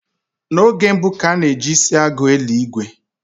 N'oge mbu, ka a na ji isi agụ eli ìgwè